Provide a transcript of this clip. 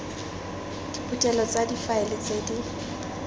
diphuthelo tsa difaele tse di